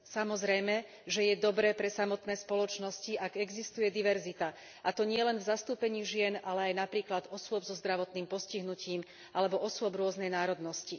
Samozrejme, že je dobré pre samotné spoločnosti, ak existuje diverzita, a to nielen v zastúpení žien, ale aj napríklad osôb so zdravotným postihnutím alebo osôb rôznej národnosti.